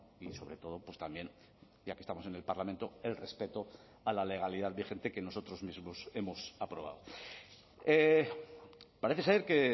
y sobre todo pues también ya que estamos en el parlamento el respeto a la legalidad vigente que nosotros mismos hemos aprobado parece ser que